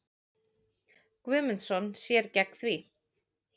Guðmundsson sér gegn því.